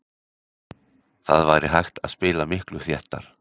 Það væri hægt að spila miklu þéttar.